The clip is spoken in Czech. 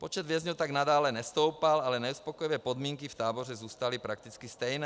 Počet vězňů tak nadále nestoupal, ale neuspokojivé podmínky v táboře zůstaly prakticky stejné.